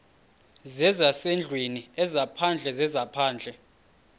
zezasendlwini ezaphandle zezaphandle